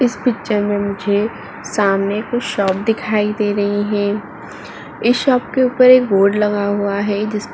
इस पिक्चर मे मुझे सामने कुछ शॉप दिखाई दे रही है। इस शॉप के ऊपर एक बोर्ड लगा हुआ है। जिस --